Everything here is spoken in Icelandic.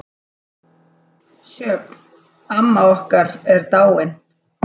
Sjöfn, amma okkar, er dáin.